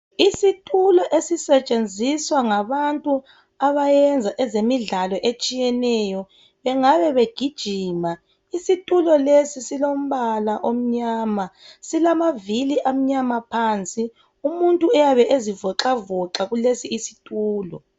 Isitulo esisetshenziswa ngabantu abayenza ezemidlalo etshiyeneyo bengabe begijima, isitulo lesi silombala omnyama silamavili amnyama phansi umuntu uyabe ezivoxavoxa kulesi situlo.